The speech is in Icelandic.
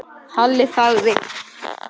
Halli þagði.